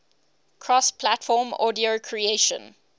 cross platform audio creation